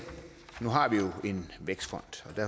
nu har vi jo en vækstfond